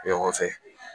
Ɲɔgɔn fɛ